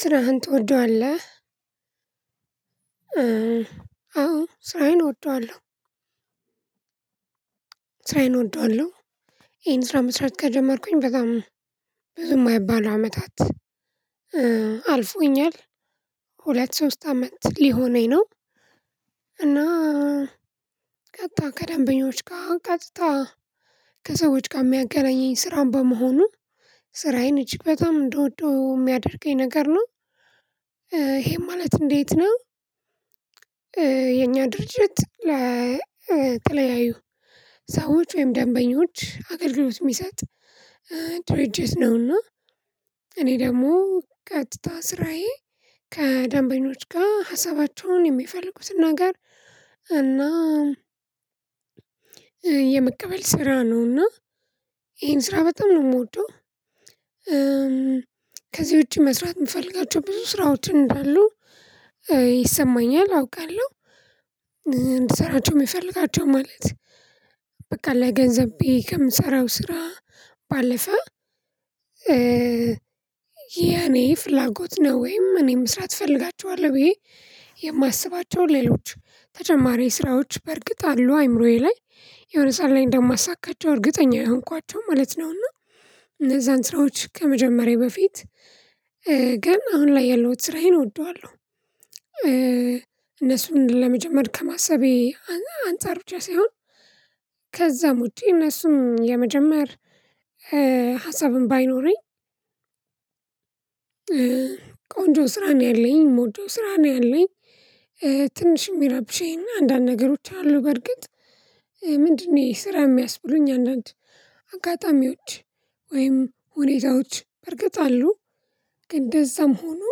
ስራህን ትወደዋለህ? አዎ ስራየን እወደዋለሁ ስራየን እወደዋለሁ ይሄን ስራ መስራት ከጀመርኩኝ በጣም ብዙ የማይባለው አመታት አልፎኛል ሁለት ሶስት አመት ሊሆነኝ ነው እና ቀጥታ ከደንበኞች ጋር ቀጥታ ከሰዎች ጋር የሚያገናኘኝ ስራን በመሆኑ ስራዬን እጅግ በጣም እንደወደው የሚያደርገኝ ነገር ነው ይሄም ማለት እንዴት ነው የኛ ድርጅት ለተለያዩ ሰዎች ወይም ደንበኞች አገልግሎት የሚሰጥ ድርጅት ነውና እኔ ደግሞ ቀጥታ ስራዬ ከደንበኞች ጋር ሀሳባቸውን የሚፈልጉትን ነገር እና የመቀበል ስራ ነው እና ይሄን ስራ በጣም ነው የምወደው ከዚህ ውጪ መስራት የምፈልጋቸው ብዙ ስራዎችን እንዳሉ ይሰማኛል አውቃለሁ እንድሠራቸው የምፈልጋቸው ማለት በቃ ለገንዘብ ብየ ከምሰራው ስራ ባለፈ ያኔ ፍላጎት ነው ወይም እኔ መስራት እፈልጋቸዋለሁ ብዬ የማስባቸውን ሌሎች ተጨማሪ ስራዎች በርግጥ አሉ አእምሮዬ ላይ የሆነ ሰዓት ላይ እንደማሳካቸው እርግጠኛ የሆንኳቸው ማለት ነው እና እነዛን ስራዎች ከመጀመሬ በፊት ግን አሁን ላይ ያለሁት ስራዬን እወደዋለሁ እነሱን ለመጀመር ከማሰቤ አንፃር ብቻ ሳይሆን ከዛም ውጪ እነሱም የመጀመሪያ ሀሳብን ባይኖረኝ ቆንጆ ስራ ነው ያለኝ ምወደው ስራ ነው ያለኝ ትንሽ የሚረብሽኝ አንዳንድ ነገሮች አሉ በእርግጥ ምንድነው ስራ የሚያስብሉኝ አንዳንድ አጋጣሚዎች ወይም ሁኔታዎች በርግጥ አሉ ግን እንደዛም ሆኖ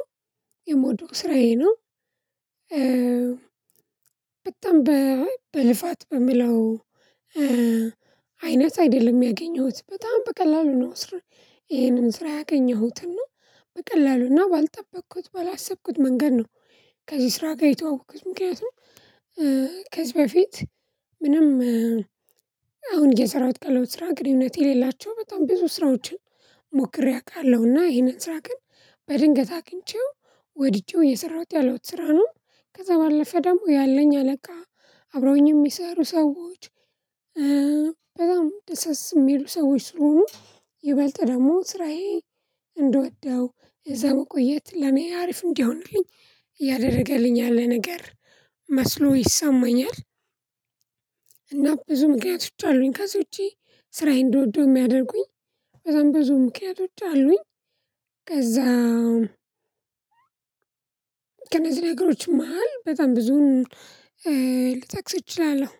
የምወደው ስራዬ ነው በጣም በልፋት በምለው አይነት አይደለም ያገኘሁት በጣም በቀላሉ ነው ስር ይሄንን ስራ ያገኘሁትን ነው በቀላሉና ባልጠበቅኩት ባላሰብኩት መንገድ ነው ከዚህ ስራ ጋር የተዋወቅኩት ምክንያቱም ከዚህ በፊት ምንም አሁን የሰራሁት ቀለው ስራ ግን እውነት የሌላቸው በጣም ብዙ ስራዎችን ሞክሬ አውቃለሁና ይሄንን ስራ ግን በድንገት አግኝቼው ወድጄው የሰራሁት ያለው ስራ ነው ከዛ ባለፈ ደግሞ ያለኝ አለቃ አብረውኝ የሚሰሩ ሰዎች በጣም ደስ የሚሉ ሰዎች ስለሆኑ ይበልጥ ደግሞ ስራዬ እንደወደው እዛ መቆየት ለኔ አሪፍ እንዲሆንልኝ ያደርገልኛል ነገር መስሎ ይሰማኛል እና ብዙ ምክንያቶች አሉኝ ከዚህ ውጪ ስራዬን እንድወደው የሚያደርጉኝ ከዛም ብዙ ምክንያቶች አሉኝ ከዛም ከነዚህ ነገሮች መሃል በጣም ብዙም ልትጠቅስ እችላለሁ